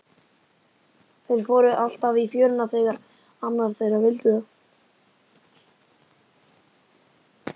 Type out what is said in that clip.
Þeir fóru alltaf í fjöruna þegar annar þeirra vildi það.